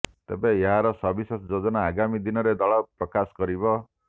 ତେବେ ଏହାର ସବିଶେଷ ଯୋଜନା ଆଗାମୀ ଦିନରେ ଦଳ ପ୍ରକାଶ କରିବ